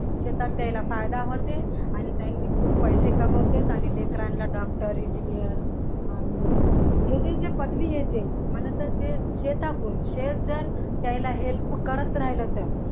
शेतात त्यांना फायदे होतेत आणि खूप पैसे कमवतेत आणि लेकरांना doctor engineer आणि जे जे पदवी आहे ते मला तर ते शेताकडून शेत जर द्यायला help जर करत राहील तर